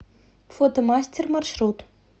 фотомастер маршрут